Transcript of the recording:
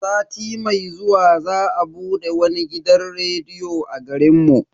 Sati mai zuwa za a bude wani gidan rediyon a garin mu.